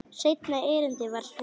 Seinna erindið var svona: